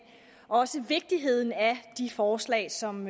også om vigtigheden af de forslag som